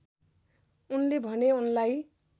उनले भने उनलाई